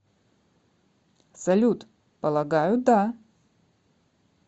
салют полагаю да